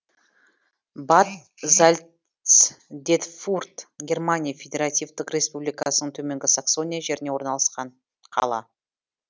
бад зальцдетфурт германия федеративтік республикасының төменгі саксония жерінде орналасқан қала